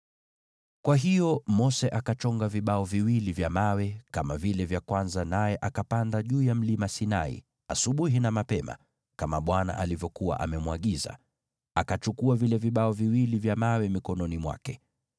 Kwa hiyo Mose akachonga vibao viwili vya mawe kama vile vya kwanza, naye akapanda juu ya Mlima Sinai asubuhi na mapema, kama Bwana alivyokuwa amemwagiza, akachukua vile vibao viwili vya mawe mikononi mwake.